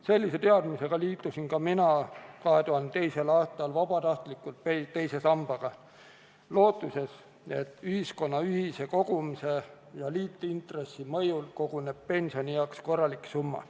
Sellise teadmisega liitusin ka mina 2002. aastal vabatahtlikult teise sambaga lootuses, et ühiskonna ühise kogumise ja liitintressi mõjul koguneb sinna pensionieaks korralik summa.